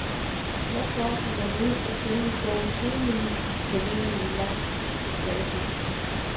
Hvorfor og hvorledes er selve bogens hovedmenu, leveret i et langt tilbageblik.